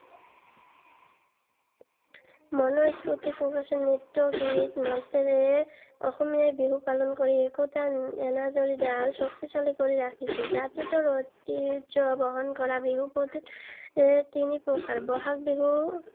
মনৰ স্‌ফুৰ্তি প্ৰকাশেৰে নৃত্যগীত মাতেৰে অসমীয়াই বিহু পালন কৰি একতাৰ এনাজৰী ডাল শক্তিশালী কৰি ৰাখিছে। জাতিটোৰ ঐতিহ্য বহন কৰা বিহু তিনি প্ৰকাৰৰ- বহাগ বিহু